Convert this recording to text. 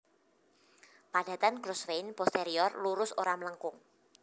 Padatan Crossvein posterior lurus ora mlengkung